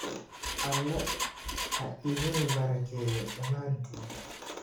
Alle ha idin barakeeyo dhamaantiin